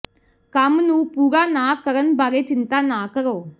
ਕੰਮ ਨੂੰ ਪੂਰਾ ਨਾ ਕਰਨ ਬਾਰੇ ਚਿੰਤਾ ਨਾ ਕਰੋ